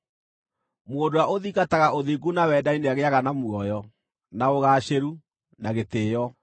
Mũndũ ũrĩa ũthingataga ũthingu na wendani nĩagĩĩaga na muoyo, na ũgaacĩru, na gĩtĩĩo.